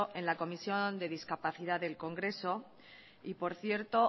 en la comisión de discapacidad del congreso por cierto